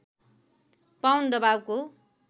pound दबावको